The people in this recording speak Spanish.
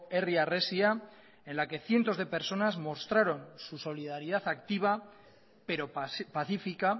herri harresia en la que cientos de personas mostraron su solidaridad activa pero pacífica